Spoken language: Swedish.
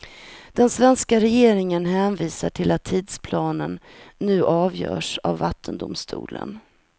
Den svenska regeringen hänvisar till att tidsplanen nu avgörs av vattendomstolen.